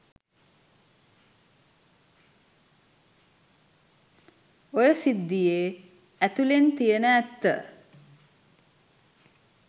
ඔය සිද්දියේ ඇතුලෙන් තියෙන ඇත්ත.